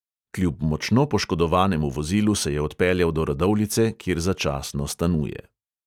Kljub močno poškodovanemu vozilu se je odpeljal do radovljice, kjer začasno stanuje.